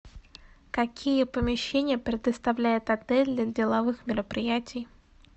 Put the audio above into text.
какие помещения предоставляет отель для деловых мероприятий